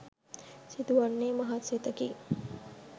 සිදුවන්නේ මහත් සෙතකි.